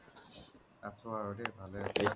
আছো আৰু দেই ভালে এতিয়া